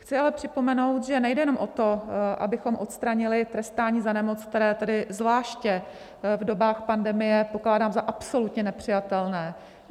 Chci ale připomenout, že nejde jenom o to, abychom odstranili trestání za nemoc, které tedy zvláště v dobách pandemie pokládám za absolutně nepřijatelné.